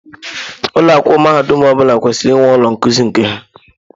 Ụlọ akwụkwọ mahadum ọ bụla kwesịrị inwe ụlọ nkuzi nke ha.